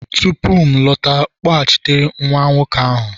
tupu m alọta, kpọghachite nwa nwoke ahụ!